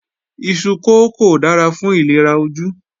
Iṣu kókò dára fún ìlera ojú